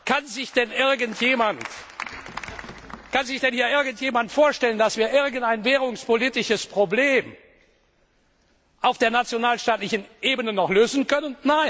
Kann sich denn hier irgendjemand vorstellen, dass wir irgendein währungspolitisches Problem auf der nationalstaatlichen Ebene noch lösen können?